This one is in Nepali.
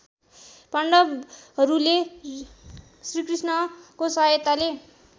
पाण्डवहरूले श्रीकृष्णको सहायताले